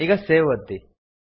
ಈಗ ಸೇವ್ ಒತ್ತಿ